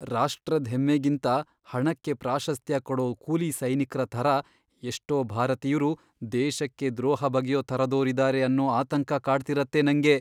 ರಾಷ್ಟ್ರದ್ ಹೆಮ್ಮೆಗಿಂತ ಹಣಕ್ಕೆ ಪ್ರಾಶಸ್ತ್ಯ ಕೊಡೋ ಕೂಲಿ ಸೈನಿಕ್ರ ಥರ ಎಷ್ಟೋ ಭಾರತೀಯ್ರು ದೇಶಕ್ಕೇ ದ್ರೋಹ ಬಗೆಯೋ ಥರದೋರಿದಾರೆ ಅನ್ನೋ ಆತಂಕ ಕಾಡ್ತಿರತ್ತೆ ನಂಗೆ.